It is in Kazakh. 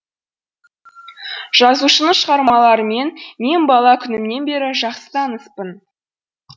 жазушының шығармаларымен мен бала күнімнен бері жақсы таныспын